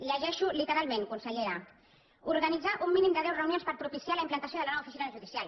llegeixo literalment consellera organitzar un mínim de deu reunions per propiciar la implantació de la nova oficina judicial